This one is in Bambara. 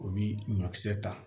U bi ɲɔkisɛ ta